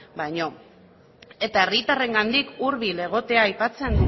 baino isiltasuna mesedez eskerrik asko eta herritarrengandik hurbil egotea aipatzen